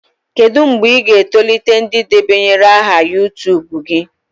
Kedu mgbe ị ga-etolite ndị debanyere aha YuTubu gị?